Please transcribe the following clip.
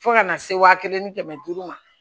Fo kana se wa kelen ni kɛmɛ duuru ma